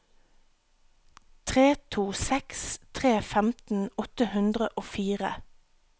tre to seks tre femten åtte hundre og fire